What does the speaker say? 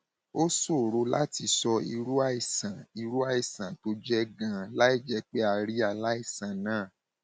ó ṣòro láti sọ irú àìsàn irú àìsàn tó jẹ ganan láìjẹ pé a rí aláìsàn náà